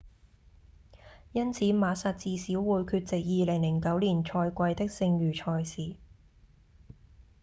因此馬薩至少會缺席2009年賽季的剩餘賽事